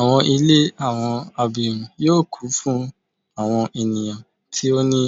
Awọn ile awọn abirun yoo kun fun awọn eniyan ti o ni